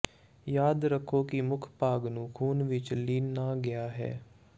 ਯਾਦ ਰੱਖੋ ਕਿ ਮੁੱਖ ਭਾਗ ਨੂੰ ਖ਼ੂਨ ਵਿੱਚ ਲੀਨ ਨਾ ਗਿਆ ਹੈ